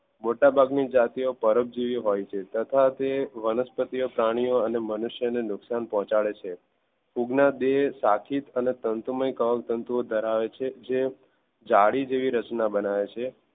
મોટા ભાગ ની જાતી પરોપજીવી હોય છે તથા તે વનસ્પતિ પ્રાણીઓ અને મનુષ્યને નુકશાન પહોચાડે છે ફૂગ ના બે શાખિત અને તંતુમય કવક્તન્તુંઓ ધરાવે છે જે જાલી જેવી રચના બનાવે છે.